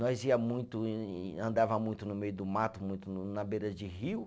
Nós ia muito em, andava muito no meio do mato, muito na beira de rio.